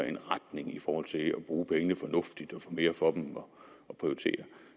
en retning i forhold til at bruge pengene fornuftigt og få mere for dem og at prioritere